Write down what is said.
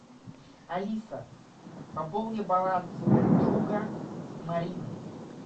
алиса пополни баланс друга марины